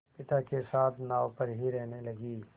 पिता के साथ नाव पर ही रहने लगी